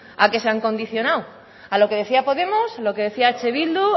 a qué se han condicionado a lo que decía podemos lo que decía eh bildu